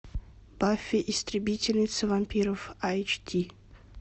баффи истребительница вампиров айч ди